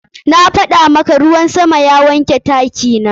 Na gaya maka, ruwan sama ya wanke taki na.